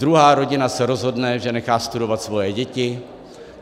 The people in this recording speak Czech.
Druhá rodina se rozhodne, že nechá studovat svoje děti.